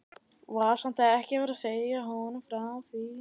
Var samt ekki að segja honum frá því.